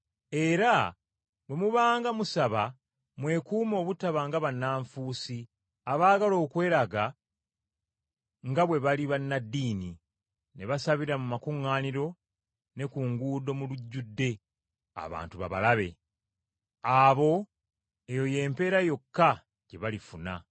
“Era bwe mubanga musaba mwekuume obutaba nga bannanfuusi abaagala okweraga nga bwe bali bannaddiini, ne basabira mu makuŋŋaaniro ne ku nguudo mu lujjudde, abantu babalabe. Abo, eyo y’empeera yokka gye balifuna.